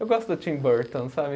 Eu gosto do Tim Burton, sabe?